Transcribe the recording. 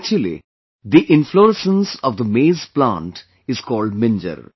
Actually, the inflorescence of the maize plant is called Minjar